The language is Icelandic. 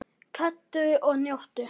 Kældu og njóttu!